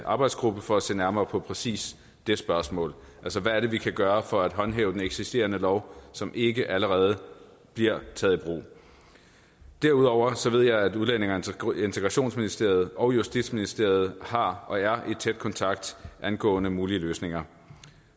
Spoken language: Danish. arbejdsgruppe for at se nærmere på præcis det spørgsmål hvad er det vi kan gøre for at håndhæve den eksisterende lov som ikke allerede bliver taget i brug derudover ved jeg at udlændinge og integrationsministeriet og justitsministeriet har og er i tæt kontakt angående mulige løsninger